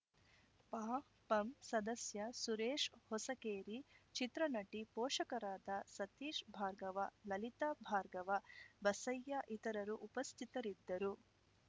ಪಪಂ ಸದಸ್ಯ ಸುರೇಶ್‌ ಹೊಸಕೇರಿ ಚಿತ್ರನಟಿ ಪೋಷಕರಾದ ಸತೀಶ್‌ ಭಾರ್ಗವ ಲಲಿತಾ ಭಾರ್ಗವ ಬಸಯ್ಯ ಇತರರು ಉಪಸ್ಥಿತರಿದ್ದರು